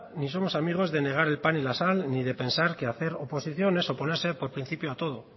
ni somos amigos de negar el pan y la sal ni de pensar que hacer oposiciones u oponerse por principio a todo